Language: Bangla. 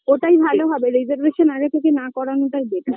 ওটাই ভালো হবে reservation আগে থেকে না করানোটাই better